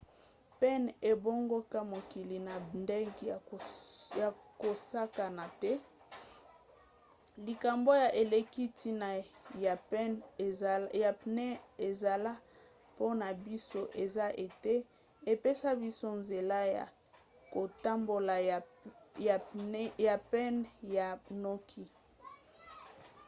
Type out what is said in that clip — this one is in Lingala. pneu ebongola mokili na ndenge ya kosakana te. likambo ya eleki ntina ya pneu esala mpona biso eza ete epesa biso nzela ya kotambola ya pene pe ya noki